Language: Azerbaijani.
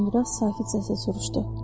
Uzun-duraz sakit səslə soruşdu.